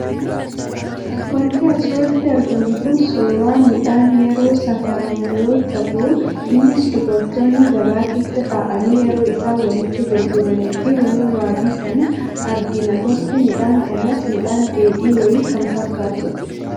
Waanti asirratti argamu Kun, suuraa midhaan yeroo safaramu yoo ta'u, innis dubartoonni gabaa keessa taa'anii yeroo isaan walitti gurguranii fi walirra bitan argina. Gosti midhaan kanas midhaan dheedhii wayii kan fakkaatudha.